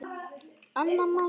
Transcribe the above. Anna María.